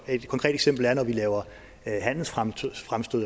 et konkret eksempel er når vi laver handelsfremstød